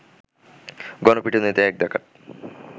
গণপিটুনিতে এক ডাকাত